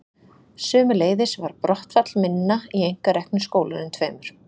Sömuleiðis var brottfall minna í einkareknu skólunum tveimur.